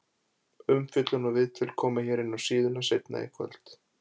Umfjöllun og viðtöl koma hér inná síðuna seinna í kvöld.